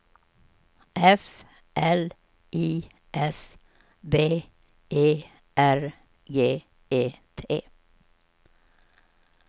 F L I S B E R G E T